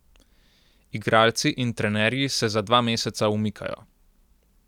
Igralci in trenerji se za dva meseca umikajo.